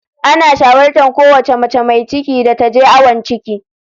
Ana shawartar kowace mace mai ciki da ta je awon ciki.